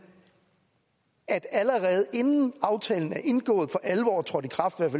at der allerede inden aftalen er indgået og for alvor er trådt i kraft